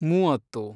ಮೂವತ್ತು